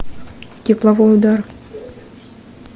тепловой удар